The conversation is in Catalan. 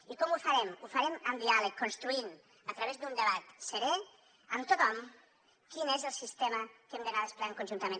i com ho farem ho farem amb diàleg construint a través d’un debat serè amb tothom quin és el sistema que hem d’anar desplegant conjuntament